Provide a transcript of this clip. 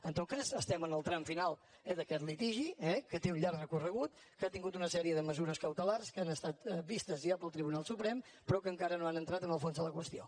en tot cas estem en el tram final eh d’aquest litigi que té un llarg recorregut que ha tingut una sèrie de mesures cautelars que han estat vistes ja pel tribunal suprem però que encara no han entrat en el fons de la qüestió